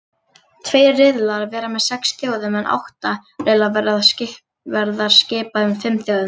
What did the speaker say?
Tveir riðlar verða með sex þjóðum en átta riðlar verða skipaðir fimm þjóðum.